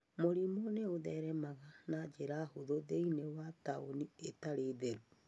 Mũrimũ nĩ ũtheremaga na njĩra hũthũ thĩinĩ wa taũni itarĩ na ũtheru.